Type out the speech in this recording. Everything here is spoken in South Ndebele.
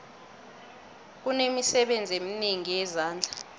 kunemisebenzi eminengi yezandla